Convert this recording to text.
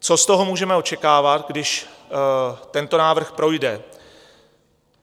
Co z toho můžeme očekávat, když tento návrh projde?